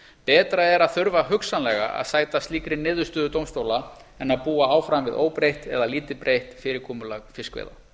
betra er að þurfa hugsanlega að sæta slíkri niðurstöðu dómstóla en að búa áfram við óbreytt eða lítið breytt fyrirkomulag fiskveiða